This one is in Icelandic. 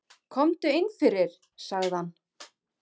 Komdu inn fyrir, sagði hann.